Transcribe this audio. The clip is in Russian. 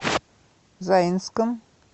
заинском